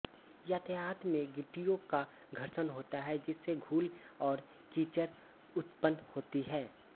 यातायात में गिट्टियों का घर्षण होता है जिससे धूल और कीचड़ उत्पन्न होती है